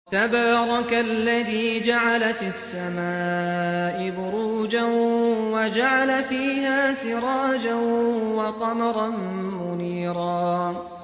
تَبَارَكَ الَّذِي جَعَلَ فِي السَّمَاءِ بُرُوجًا وَجَعَلَ فِيهَا سِرَاجًا وَقَمَرًا مُّنِيرًا